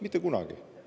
Mitte kunagi!